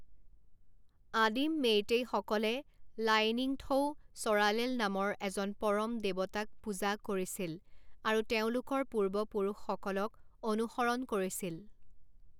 আদিম মেইতেইসকলে লাইনিংথৌ ছ'ৰালেল নামৰ এজন পৰম দেৱতাক পূজা কৰিছিল, আৰু তেওঁলোকৰ পূৰ্বপুৰুষসকলক অনুসৰণ কৰিছিল।